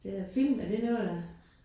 Det er film. er det noget der